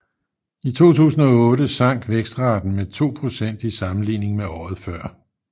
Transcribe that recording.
I 2008 sank vækstraten med 2 procent i sammenligning med året før